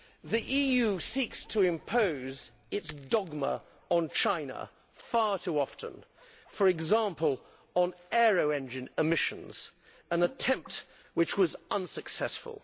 The EU seeks to impose its dogma on China far too often, for example on aero engine emissions, an attempt which was unsuccessful.